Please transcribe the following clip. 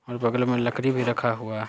और बगल में लकड़ी भी रखा हुआ --